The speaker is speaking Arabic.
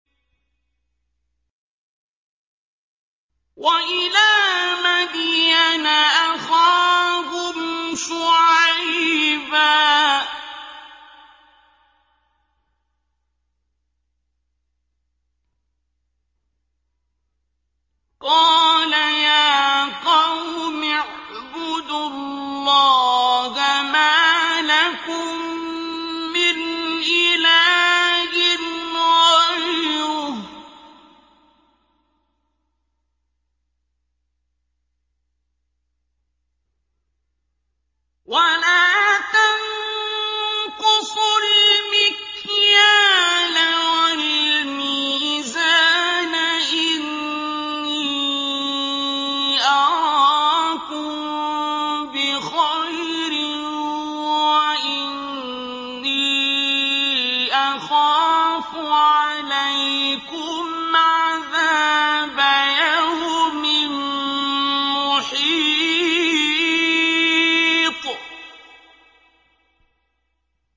۞ وَإِلَىٰ مَدْيَنَ أَخَاهُمْ شُعَيْبًا ۚ قَالَ يَا قَوْمِ اعْبُدُوا اللَّهَ مَا لَكُم مِّنْ إِلَٰهٍ غَيْرُهُ ۖ وَلَا تَنقُصُوا الْمِكْيَالَ وَالْمِيزَانَ ۚ إِنِّي أَرَاكُم بِخَيْرٍ وَإِنِّي أَخَافُ عَلَيْكُمْ عَذَابَ يَوْمٍ مُّحِيطٍ